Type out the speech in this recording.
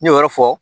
N ɲe o yɔrɔ fɔ